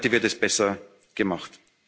ist heute wird es besser